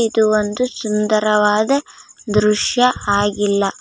ಇದು ಒಂದು ಸುಂದರವಾದ ದೃಶ್ಯ ಆಗಿಲ್ಲ .